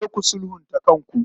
Ku je ku sulhunta kanku.